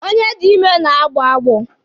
Onye dị ime na-agbọ agbọ.